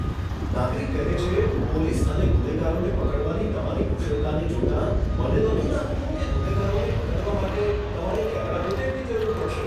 નાગરિક કહે છે, પોલીસ અને ગુનેગારોને પકડવાની તમારી કુશળતાને જોતાં, મને નહોતું લાગતું કે ગુનેગારોને પકડવા માટે તમારે કેમેરા ફૂટેજની જરૂર પડશે.